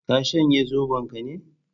Ka shanye Zobon ka ne?